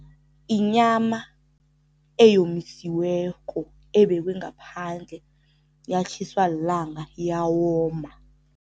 Inyama eyomisiweko ebekwe ngaphandle yatjhiswa lilanga, yawoma.